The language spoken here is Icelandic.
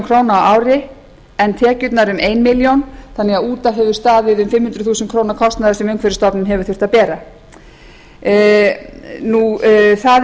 á ári en tekjurnar um eina milljón króna út af hefur staðið um fimm hundruð þúsund króna kostnaður sem umhverfisstofnun hefur þurft að